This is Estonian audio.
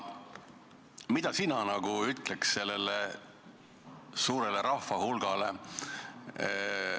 Mida sina ütleks sellele suurele rahvahulgale?